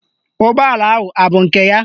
Ụgbọala ahụ abụ nke ya?